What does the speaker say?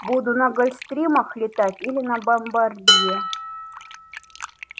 буду на гольфстримах летать или на бомбардье